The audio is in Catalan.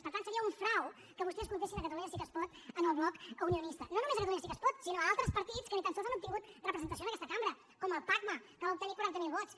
per tant seria un frau que vostès comptessin catalunya sí que es pot en el bloc unionista no només catalunya sí que es pot sinó altres partits que ni tan sols han obtingut representació en aquesta cambra com el pacma que va obtenir quaranta mil vots